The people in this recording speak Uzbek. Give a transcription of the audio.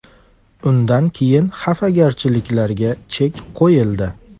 Undan keyin xafagarchiliklarga chek qo‘yildi.